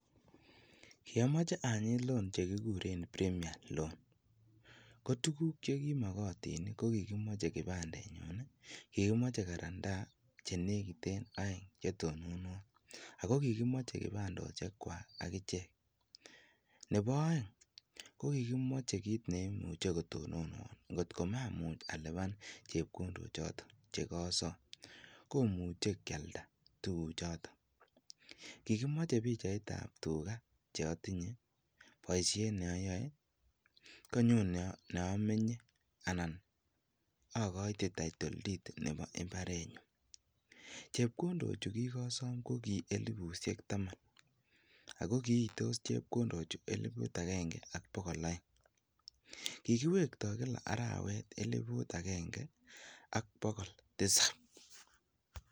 Kiomoche anyiit loan chekikuren premium loan, ko tukuk chekimokotin ko kikimoche kipandenyun ii, kikimoche karantaa chenekiten oeng chetononwon ak ko kikimoche kipandoshekwak akichek, Nebo oeng ko kikimoche kiit neimuche kotononwon, ngot ko mamuch aliban chepkondochoton chekosom komuche kialda tukuchoton, kikimoche pichaitab tukaa cheotinye koboishen yoyoe konyun neomenye anan akoite title deed nebo imbarenyun, chepkondochu kikosom ko kii elibushek taman ak ko kiitos chenpkondochu elibut akeng'e ak bokol oeng, kikiwekto kila arawet elibut akeng'e ak bokol tisab.